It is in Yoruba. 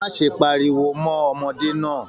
Má ṣe páríwó mọ ọmọdé náà!